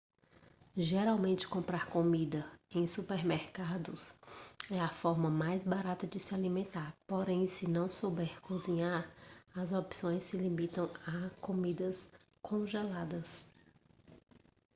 geralmente comprar comida em supermercados é a forma mais barata de se alimentar porém se não souber cozinhar as opções se limitam a comidas congeladas